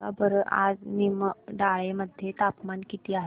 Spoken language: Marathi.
सांगा बरं आज निमडाळे मध्ये तापमान किती आहे